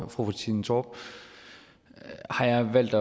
fru trine torp har jeg valgt